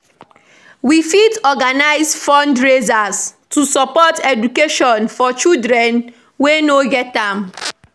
We fit organize fundraisers to support education for children wey no get am.